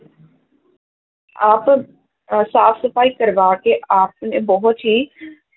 ਆਪ ਅਹ ਸਾਫ਼ ਸਫ਼ਾਈ ਕਰਵਾ ਕੇ ਆਪ ਨੇ ਬਹੁਤ ਹੀ